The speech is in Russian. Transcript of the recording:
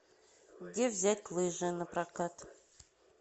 где взять лыжи напрокат